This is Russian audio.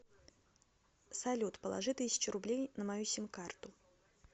салют положи тысячу рублей на мою сим карту